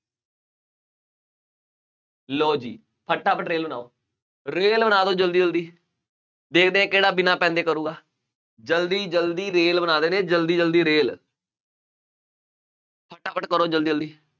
ਲਉ ਜੀ, ਫਟਾਫਟ ਰੇਲ ਬਣਾਉ, ਰੇਲ ਬਣਾ ਦਿਉ ਜਲਦੀ ਜਲਦੀ, ਦੇਖਦੇ ਹਾਂ ਕਿਹੜਾ ਬਿਨਾ ਪੈੱਨ ਦੇ ਕਰੂਗਾ, ਜਲਦੀ ਜਲਦੀ ਰੇਲ ਬਣਾ ਦਿੰਦੇ ਆ ਜਲਦੀ ਜਲਦੀ ਰੇਲ ਫਟਾਫਟ ਕਰੋ ਜਲਦੀ ਜਲਦੀ,